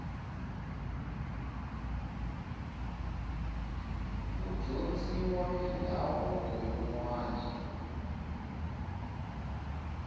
ku dyondziwa mindhavuko yinwani